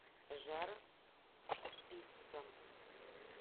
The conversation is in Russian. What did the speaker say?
жар пицца